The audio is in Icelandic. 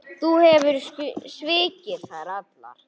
Þú hefur svikið þær allar.